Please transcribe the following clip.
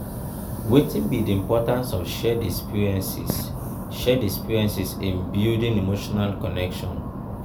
wetin be di importance of shared experiences shared experiences in building emotional connection?